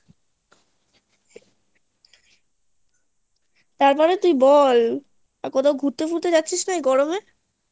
তারপর তুই বল ঘুরতে ফুরতে যাচ্ছিস না এই গরমে